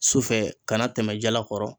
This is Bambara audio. Sufɛ kana tɛmɛ jalakɔrɔ.